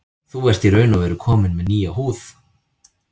Þú ert í raun og veru kominn með nýja húð.